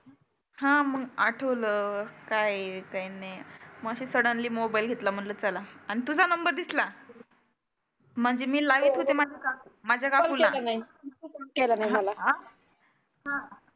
हा मग आठवलं काय आहे काय नाही. मग आशी सडनली मोबाइल घेतला म्हटलं चला, आन तुझा नंबर दिसला. म्हणजे मी लावीत होते माझ राहुन गेलं. हं.